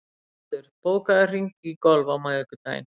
Sigurbaldur, bókaðu hring í golf á miðvikudaginn.